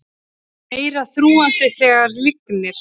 Meira þrúgandi þegar lygnir